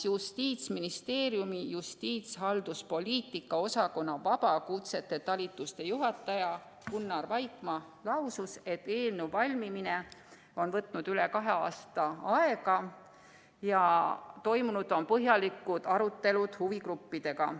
Justiitsministeeriumi justiitshalduspoliitika osakonna vabakutsete talituse juhataja Gunnar Vaikmaa lausus, et eelnõu valmimine on võtnud aega üle kahe aasta ja toimunud on põhjalikud arutelud huvigruppidega.